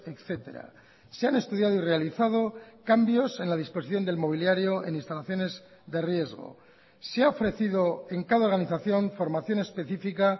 etcétera se han estudiado y realizado cambios en la disposición del mobiliario en instalaciones de riesgo se ha ofrecido en cada organización formación específica